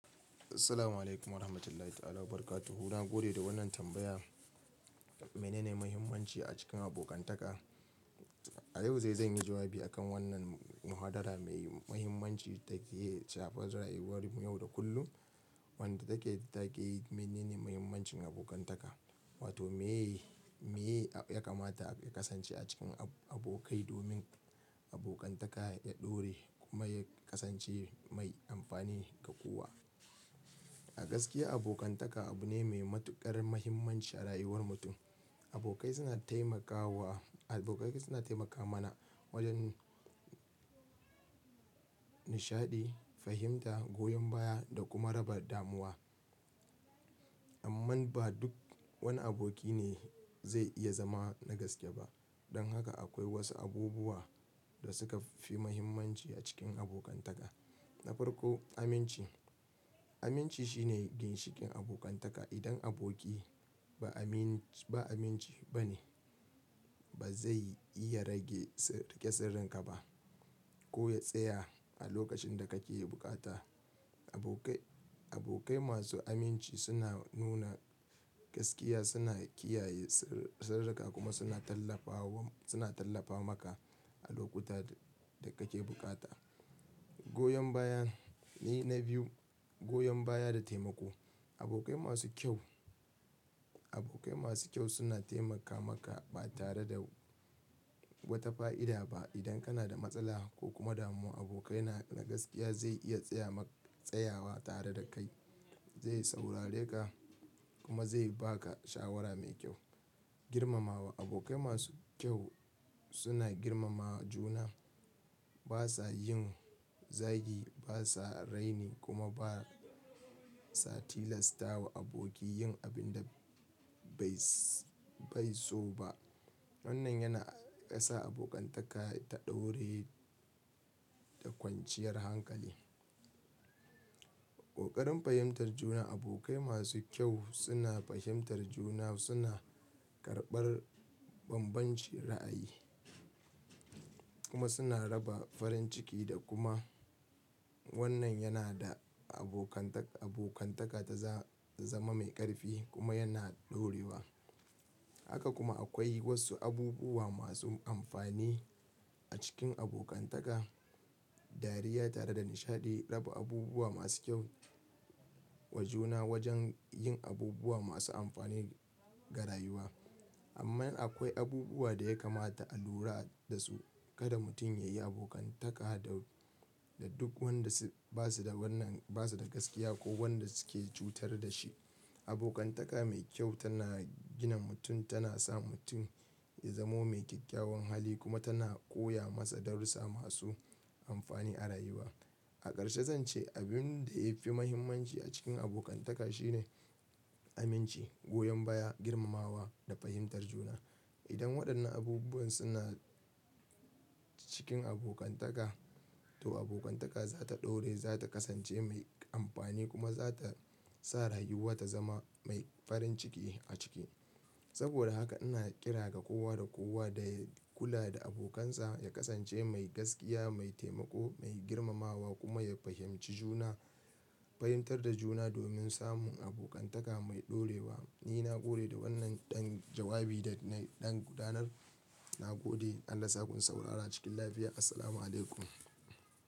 Assalamualaikum warahmatullahi ta'ala wabarakatuhu. Na gode da wannan tambaya. Menene muhimmanci a cikin abokantaka? A yau zai, zan yi jawabi a kan wannan mahadara mai muhimmanci take ciyawa rayuwar mu yau da kullum. Wanda take, da take menene muhimmancin abokantaka? Wato meye, meye ya kamata a kasance a cikin abokai domin abokantaka ya ɗore kuma ya kasance mai amfani ga kowa. A gaskiya abokantaka abu ne mai matuƙar muhimmanci a rayuwar mutum. Abokai suna taimakawa, abokai suna taimaka mana wajen nishaɗi, fahimta, goyon baya da kuma raba damuwa. Amma ba duk wani aboki ne zai iya zama na gaske ba. Don haka akwai wasu abubuwa da suka fi muhimmanci a cikin abokantaka. Na farko aminci. Aminci shine ginshikin abokantaka. Idan aboki ba aminci, ba aminci ba ne, ba zai iya rage sar, rike sirrin ka ba ko ya tsaya a lokacin da kake bukata. Abokai, abokai masu aminci suna nuna gaskiya, suna kiyaye sirri, sirrika kuma suna tallafawa, suna tallafa maka a lokuta da kake bukata. Goyon baya ne na biyu. Goyon baya da taimako. Abokai masu kyau, abokai masu kyau suna taimaka maka ba tare da wata fa'ida ba. Idan kana da matsala ko kuma damuwa, abokai na, na gaskiya zai iya tsaya ma, tsayawa tare da kai, zai saurare ka kuma zai ba ka shawara mai kyau. Girmamawa. Abokai masu kyau suna girmama juna. Ba sa yin zagi, ba sa raini kuma ba sa tilastawa aboki yin abin da bai so ba. Wannan yana sa abokantaka ta ɗore da kwanciyar hankali. Ƙoƙarin fahimtar juna. Abokai masu kyau suna fahimtar juna, suna karɓar bambancin ra'ayi kuma suna raba farin ciki da kuma wannan yana da abokantaka, abokantaka ta za zama mai ƙarfi kuma yana ɗorewa. Haka kuma akwai wasu abubuwa masu amfani a cikin abokantaka, dariya tare da nishaɗi, raba abubuwa masu kyau wa juna wajen yin abubuwa masu amfani ga rayuwa. Amma akwai abubuwa da ya kamata a lura da su. Kada mutum ya yi abokantaka da, da duk wanda ba su da wannan, ba su da gaskiya ko wanda suke cutar da shi. Abokantaka mai kyau tana gina mutum, tana sa mutum ya zamo mai kyakkyawan hali kuma tana koya masa darussa masu amfani a rayuwa. A ƙarshe zan ce abin da ya fi muhimmanci a cikin abokantaka shine aminci, goyon baya, girmamawa da fahimtar juna. Idan waɗannan abubuwan suna cikin abokantaka to abokantaka za ta ɗore, za ta kasance mai amfani kuma za ta sa rayuwa ta zama mai farin ciki a ciki. Saboda haka ina ƙira ga kowa da kowa da kula da abokansa ya kasance mai gaskiya, mai taimako, mai girmamawa kuma ya fahimci juna, fahimtar da juna domin samun abokantaka mai ɗorewa. Ni na gode da wannan ɗan jawabi da na, ɗan gudanar. Na gode, an rasa kun saurara cikin lafiya. Assalamu alaikum.